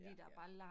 Ja, ja